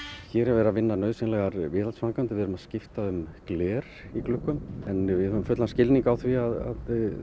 hér er verið að vinna nauðsynlegar viðhaldsframkvæmdir við erum að skipta um gler í gluggum en við höfum fullan skilning á því að